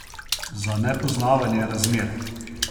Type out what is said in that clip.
Za nepoznavanje razmer?